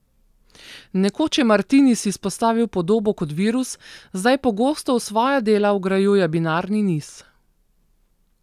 Nekoč je Martinis izpostavil podobo kot virus, zdaj pogosto v svoja dela vgrajuje binarni niz.